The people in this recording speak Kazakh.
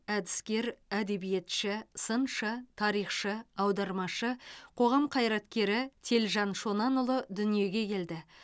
әдіскер әдебиетші сыншы тарихшы аудармашы қоғам қайраткері телжан шонанұлы дүниеге келді